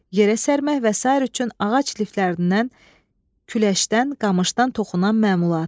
Yerə sərmək və sair üçün ağac liflərindən, küləşdən, qamışdan toxunan məmulat.